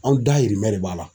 Anw dayirimɛ de b'a la.